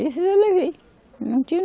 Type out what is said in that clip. Esses eu levei. Não tinha